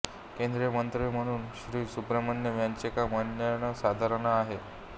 केंद्रीय मंत्री म्हणून श्री सुब्रमण्यम यांचे काम अनन्यसाधारण आहे